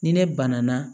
Ni ne banana